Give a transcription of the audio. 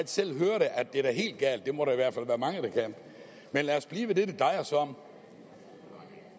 selv høre at det er helt galt det må der i hvert fald være mange der kan men lad os blive ved det det drejer sig om